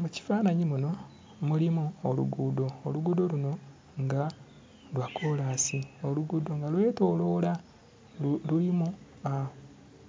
Mu kifaananyi muno mulimu oluguudo, oluguudo luno nga lwa kkolansi. Oluguudo nga lwetooloola lulimu